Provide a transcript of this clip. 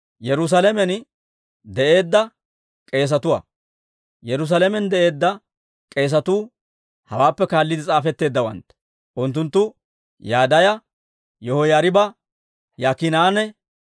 Yerusaalamen de'eedda k'eesatuu hawaappe kaalliide s'aafetteeddawantta. Unttunttu Yadaaya, Yihoyaariba, Yaakiinanne